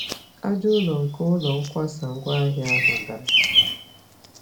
Aja-ụlọ nke ụlọ nkwasa-ngwa-ahịa ahụ dàrà